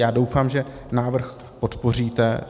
Já doufám, že návrh podpoříte.